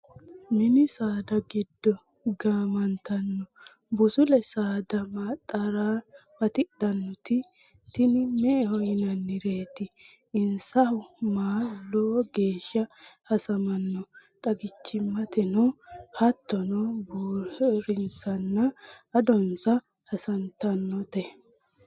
Mini saada giddo gamattano busule saada maxaro batidhanoti tini me"eho yinannireti insahu maalu lowo geeshsha hasamano xaggichimateno hattono buurinsanna adonsa hasattanote.